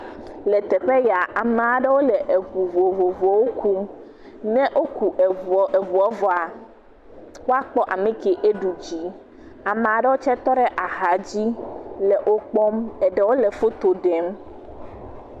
Le teƒe ya, ame aɖewo le eŋu vovovowo kum, ne woku eŋu vɔa woa kpɔ ame ke eɖu dzi, ame ɖewo tse tɔ ɖe axa dzi le wokpɔm eɖewo le foto ɖem.